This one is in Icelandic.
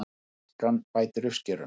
Askan bætir uppskeruna